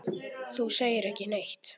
Þú segir ekki neitt.